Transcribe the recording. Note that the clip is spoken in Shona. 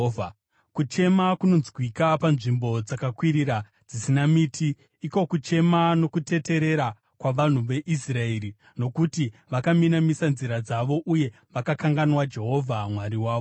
Kuchema kunonzwika panzvimbo dzakakwirira dzisina miti, iko kuchema nokuteterera kwavanhu veIsraeri, nokuti vakaminamisa nzira dzavo uye vakakanganwa Jehovha Mwari wavo.